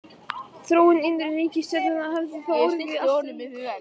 Þróun innri reikistjarnanna hefði þá orðið allt önnur.